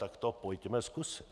Tak to pojďme zkusit.